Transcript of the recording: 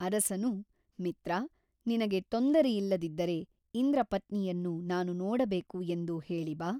ಅರಸನು ಮಿತ್ರ ನಿನಗೆ ತೊಂದರೆಯಿಲ್ಲದಿದ್ದರೆ ಇಂದ್ರಪತ್ನಿಯನ್ನು ನಾನು ನೋಡಬೇಕು ಎಂದು ಹೇಳಿ ಬಾ.